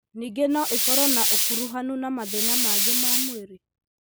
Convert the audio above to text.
Ningĩ no ikorũo na ũkuruhanu na mathĩna mangĩ ma mwĩrĩ.